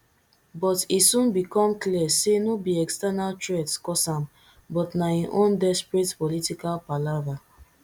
but e soon become clear say no be external threats cause am but na im own desperate political palava